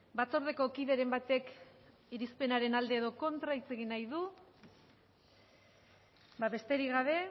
batzordeko kideren batek irizpenaren alde edo kontra hitz egin nahi du ez besterik gabe